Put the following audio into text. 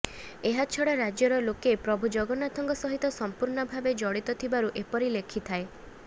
ଏହାଛଡ଼ା ରାଜ୍ୟର ଲୋକେ ପ୍ରଭୁ ଜଗନ୍ନାଥଙ୍କ ସହିତ ସମ୍ପୂର୍ଣ୍ଣ ଭାବେ ଜଡ଼ିତ ଥିବାରୁ ଏପରି ଲେଖିଥାଏ